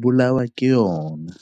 bolawa ke yona.